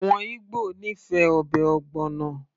àwọn Igbo nífẹ̀ẹ́ ọbẹ̀ ogbono